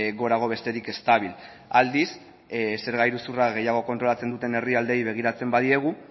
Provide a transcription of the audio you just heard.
gorago besterik ez dabil aldiz zerga iruzurra gehiago kontrolatzen duten herrialdeei begiratzen badiegu